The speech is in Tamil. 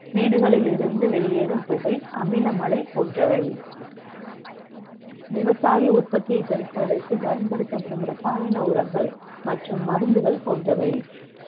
வீடுகளில் இருந்து வெளியேறும் புகை அமில மழை போன்றவை விவசாய உற்பத்தியை பெருக்குவதற்கு பயன்படுத்தப்படும் ரசாயன உரங்கள் மற்றும் மருந்துகள் போன்றவை